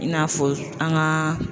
I n'a fɔ an ŋaa